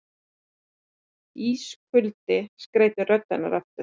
Ískuldi skreytir rödd hennar aftur.